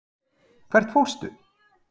Jóhannes: Hvert fórstu?